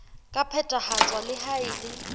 ka phethahatswa le ha e